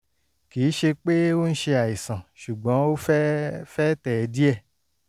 kì í ṣe pé ó ń ṣe àìsàn ṣùgbọ́n ó fẹ́ fẹ́ tẹ̀ ẹ́ díẹ̀